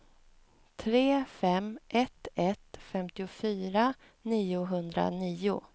tre fem ett ett femtiofyra niohundranio